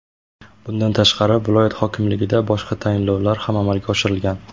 Bundan tashqari, viloyat hokimligida boshqa tayinlovlar ham amalga oshirilgan.